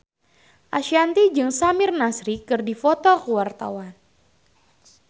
Ashanti jeung Samir Nasri keur dipoto ku wartawan